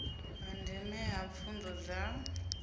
ha ndeme ha pfunzo dza